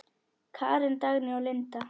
Karen, Dagný og Linda.